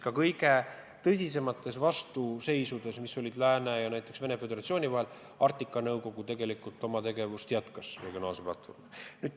Ka kõige tõsisemate vastuseisude korral, mis on olnud lääne ja näiteks Venemaa Föderatsiooni vahel, on Arktika Nõukogu oma tegevust regionaalsel platvormil jätkanud.